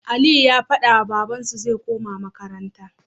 Aliyu ya fadawa babban su zai koma makaranta